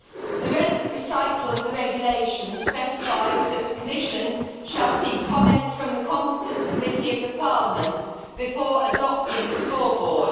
The relevant recital of the regulation specifies that the Commission should seek comments from the competent committee of the Parliament before adopting the scoreboard.